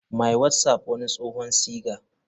My whatsapp wani tsohon siga.